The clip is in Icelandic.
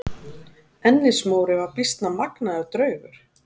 Ennis-Móri var býsna magnaður draugur.